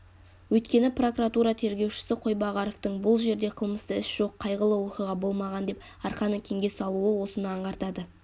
өйткені прокуратура тергеушісі қойбағаровтың бұл жерде қылмысты іс жоқ қайғылы оқиға болмаған деп арқаны кеңге салуы осыны аңғартады